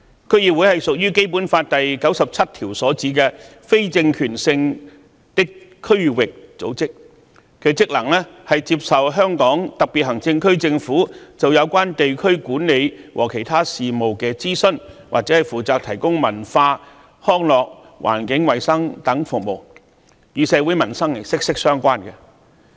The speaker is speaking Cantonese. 區議會屬於《基本法》第九十七條所指的非政權性的區域組織，其職能是接受香港特別行政區政府就有關地區管理和其他事務的諮詢，或負責提供文化、康樂、環境衞生等服務，與社會民生息息相關。